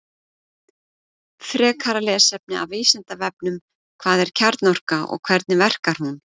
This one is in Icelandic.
Frekara lesefni af Vísindavefnum Hvað er kjarnorka og hvernig verkar hún?